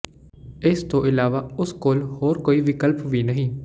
ਇਸ ਤੋਂ ਇਲਾਵਾ ਉਸ ਕੋਲ ਕੋਈ ਹੋਰ ਵਿਕਲਪ ਵੀ ਨਹੀਂ